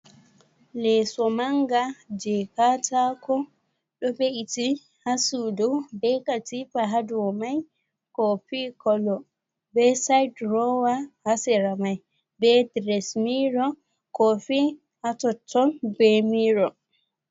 Leso manga je katako ɗo be’iti ha sudu be katipa haduwo mai kofi kolo be said rowa hasira mai be dresmiro kofi atotton be miro.